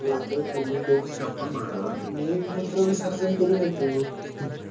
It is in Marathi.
तुम्ही तुमच्या गप्पा मारा मी मूत्र विसर्जन करून येतो